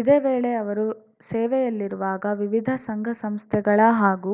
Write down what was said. ಇದೇ ವೇಳೆ ಅವರು ಸೇವೆಯಲ್ಲಿರುವಾಗ ವಿವಿಧ ಸಂಘಸಂಸ್ಥೆಗಳ ಹಾಗೂ